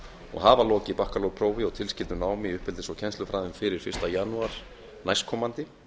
og hafa lokið bakkaprófi á tilskildu námi í uppeldis og kennslufræðum fyrir fyrsta janúar næstkomandi